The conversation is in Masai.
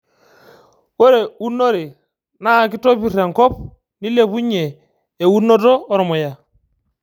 Ore unore naa kitopir enkop nilepunye eunoto ormuya